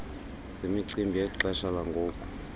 zemicimbi yexesha langoku